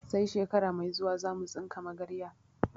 Sai shekara mai zuwa zamu tsinka magarya